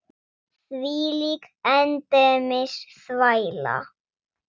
Þvílík endemis þvæla.